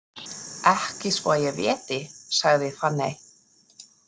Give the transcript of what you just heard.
Ekki svo að ég viti, sagði Fanney.